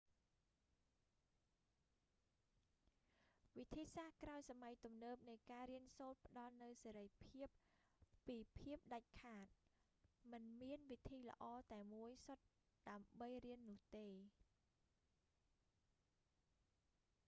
វិធីសាស្រ្តក្រោយសម័យទំនើបនៃការរៀនសូត្រផ្តល់នូវសេរីភាពពីភាពដាច់ខាត មិនមានវិធីល្អតែមួយសុទ្ធដើម្បីរៀននោះទេ